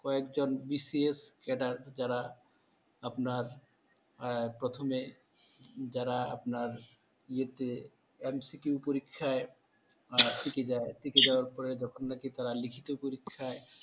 কয়েকজন BCS cadre যারা আপনার প্রথমে যারা আপনার ইয়েতে MCQ পরীক্ষায় টিকে যায়, টিকে যাওয়ার পর যখন নাকি তারা লিখিত পরীক্ষায়।